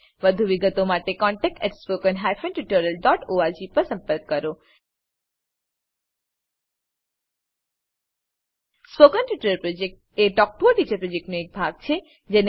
વધુ વિગતો માટે કૃપા કરી contactspoken tutorialorg પર લખો spoken tutorial project talk to a teacher પ્રોજેક્ટનો એક ભાગ છે